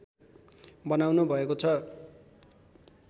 बनाउनु भएको छ